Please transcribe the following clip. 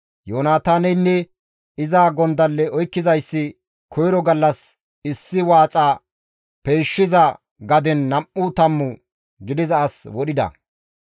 Yoonataaneynne iza gondalle oykkizayssi koyro gallas issi waaxa peyshshiza gaden nam7u tammu gidiza as wodhida.